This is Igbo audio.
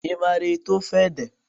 Ị maara ete ofe ede?